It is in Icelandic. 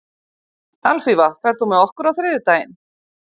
Alfífa, ferð þú með okkur á þriðjudaginn?